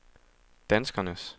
danskernes